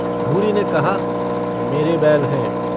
भूरी ने कहा - मेरे बैल हैं।